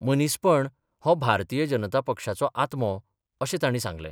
मनीसपण हो भारतीय जनता पक्षाचो आत्मो अशें ताणी सांगलें.